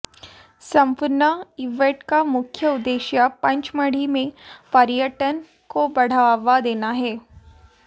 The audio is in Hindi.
संपूर्ण इवेंट का मुख्य उद्देश्य पंचमढ़ी मे पर्यटन को बढ़ावा देना है